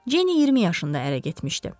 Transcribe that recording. Cenni 20 yaşında ərə getmişdi.